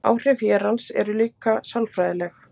áhrif hérans eru líka sálfræðileg